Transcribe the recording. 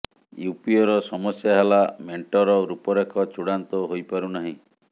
ୟୁପିଏର ସମସ୍ୟା ହେଲା ମେଣ୍ଟର ରୂପରେଖ ଚୂଡ଼ାନ୍ତ ହୋଇପାରୁ ନାହିଁ